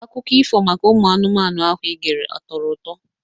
Akụko ifo maka ụmụ anụmanụ ahụ igere atọrọ ụtọ?